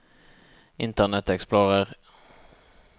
internet explorer